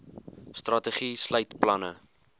strategie sluit planne